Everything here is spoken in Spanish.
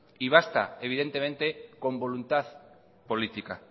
y basta evidentemente con voluntad política